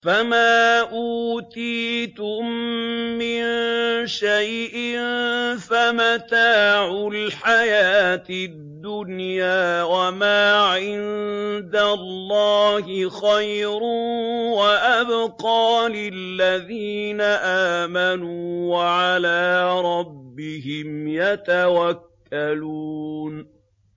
فَمَا أُوتِيتُم مِّن شَيْءٍ فَمَتَاعُ الْحَيَاةِ الدُّنْيَا ۖ وَمَا عِندَ اللَّهِ خَيْرٌ وَأَبْقَىٰ لِلَّذِينَ آمَنُوا وَعَلَىٰ رَبِّهِمْ يَتَوَكَّلُونَ